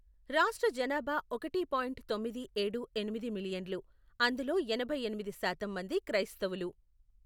రాష్ట్ర జనాభా ఒకటి పాయింట్ తొమ్మిది ఏడు ఎనిమిది మిలియన్లు, అందులో ఎనభై ఎనిమిది శాతం మంది క్రైస్తవులు.